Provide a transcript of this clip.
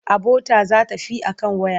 Abota za ta fi a kan waya.